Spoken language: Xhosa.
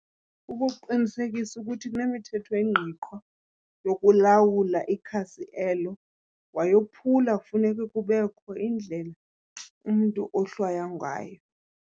Kukuqinisekisa ukuthi kunemithetho engqiqwa yokulawula ikhasi elo, wayophula kufuneka kubekho indlela umntu ohlwaya ngayo.